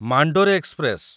Mandore express